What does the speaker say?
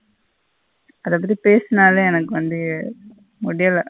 அத பத்தி பேசுனாலே எனக்கு வந்து முடியல.